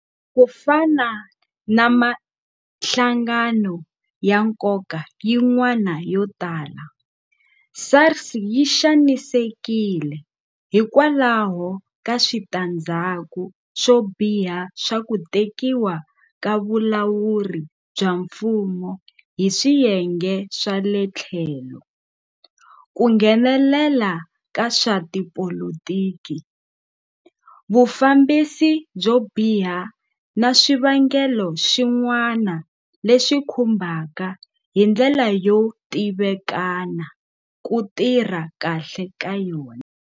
Ku fana na mihlangano ya nkoka yin'wana yo tala, SARS yi xanisekile hikwalaho ka switandzhaku swo biha swa ku tekiwa ka vulawuri bya mfumo hi swiyenge swa le tlhelo, ku nghenelela ka swa tipolitiki, vufambisi byo biha na swivangelo swin'wana leswi khumbaka hi ndlela yo tivikana ku tirha kahle ka yona.